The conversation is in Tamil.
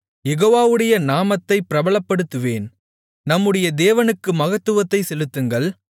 யெகோவாவுடைய நாமத்தை பிரபலப்படுத்துவேன் நம்முடைய தேவனுக்கு மகத்துவத்தைச் செலுத்துங்கள்